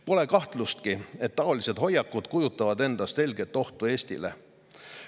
Pole kahtlustki, et taolised hoiakud kujutavad endast selget ohtu Eestile.